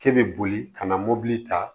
K'e bɛ boli ka na mobili ta